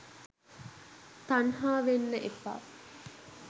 තන්හාවෙන්න එපා.